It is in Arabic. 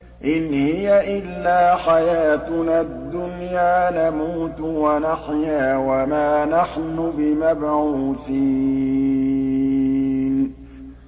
إِنْ هِيَ إِلَّا حَيَاتُنَا الدُّنْيَا نَمُوتُ وَنَحْيَا وَمَا نَحْنُ بِمَبْعُوثِينَ